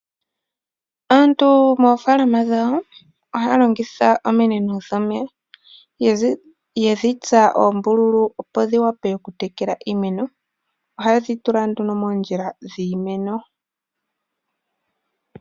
Aantu moofaalama dhawo ohaya longitha ominino dho meya yedhi tsa oombululu, opo dhi wape oku tekela iimeno. Ohaye dhi tula nduno moondjila dhiimeno.